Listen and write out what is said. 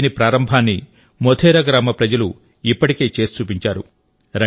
దీని ప్రారంభాన్ని మోధేరా గ్రామ ప్రజలు ఇప్పటికే చేసి చూపించారు